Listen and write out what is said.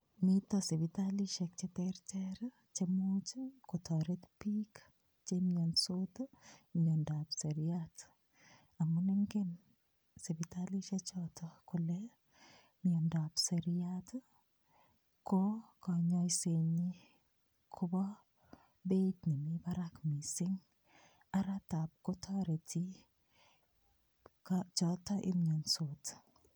Miten sipitalishek cheterter che imuch kotoret bik chemionsot tii miondap seriat amun ingen sipitakishe choton kole miondop seriat ko konyoset nyin kobo beit nemii barak missing araa tab kotoreti choton emiosot.